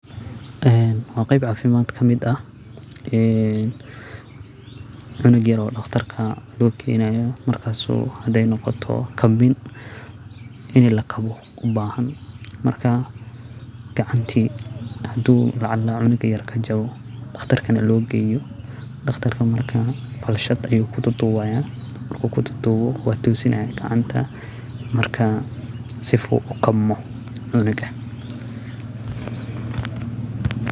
Wa qeyb cafimad kamid oo cunug yar aya daqtar logeynaya oo hadey noqoto kabin inii lakawo ubahan marka gacanti hadu cunuga kajawo daqtar inii logeyo oo daqtarka marka falshad ayu kuduwaya oo wutosinaya gacanta sifu kukabmo cunuga.